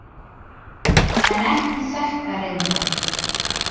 En ekki þetta reyndar.